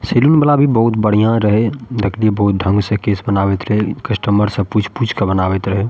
Salon वाला भी बहुत बढ़िया रहे देखलिए बहुत ढंग से केश बनावएत रहे कस्टमर से पूछ-पूछ के बनावएत रहे।